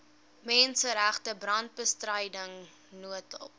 menseregte brandbestryding noodhulp